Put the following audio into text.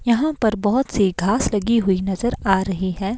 यहां पर बहुत सी घास लगी हुई नजर आ रही है।